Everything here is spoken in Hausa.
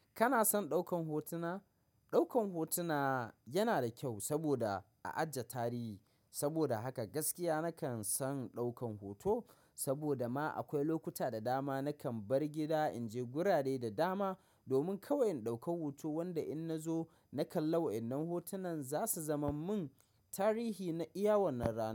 Kana son ɗaukan hotuna? Ɗaukan hotuna yana da kyau saboda a ajiye tarihi. Saboda haka gaskiya nakan son ɗaukan hoto saboda ma akwai lokuta da dama nakan bar gida in je gurare da dama domin kawai in ɗauka hoto wanda in na zo na kalla wa. Waɗannan hotunan za su zaman mun tarihi na iya wannan rana.